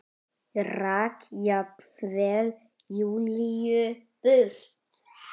Rak jafnvel Júlíu burt.